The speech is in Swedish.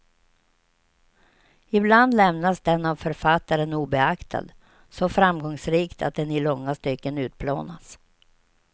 Ibland lämnas den av författaren obeaktad, så framgångsrikt att den i långa stycken utplånas.